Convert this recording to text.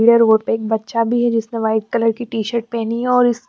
ह रोड पे एक बच्चा भी है जिसने व्हाईट कलर की टी शर्ट पहनी है और इस--